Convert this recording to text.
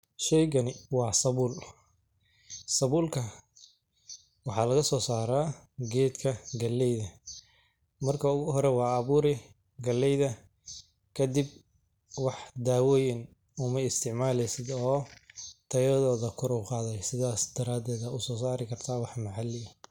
Sheygani wa sabul, sabulka waxa lagaso sara gedka galeyda marka ogu hore wad aburi galeyda kadib, wax dawoyin uma is tacmalosid oo tayadoda kor uqadeysa sidhas daraded aya usosari karta wax macali.